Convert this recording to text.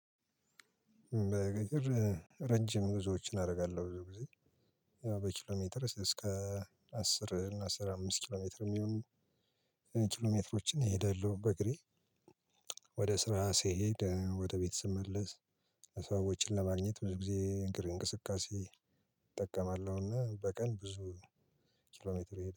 በገጠር ረጅም ጉዞዎችን አደርጋለሁ። ብዙ ጊዜ ያው በኪሎ ሜትር እስከ አስር እና አስራ አምስት ኪሎ ሜትር የሚሆኑ ኪሎ ሜትሮችን እሄዳለሁ በእግሬ። ወደ ስራ ስሄድ ወደ ቤት ስመለስ። ሂሳብ ወጪን ለማግኘት ብዙ ጊዜ እንቅስቃሴ እጠቀማለሁና በቀን ብዙ ኪሎሜትር